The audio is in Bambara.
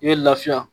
I bɛ lafiya